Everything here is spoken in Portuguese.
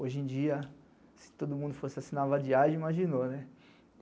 Hoje em dia, se todo mundo fosse assinar a vadiagem, imaginou, né?